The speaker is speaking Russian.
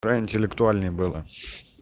про интеллектуальные было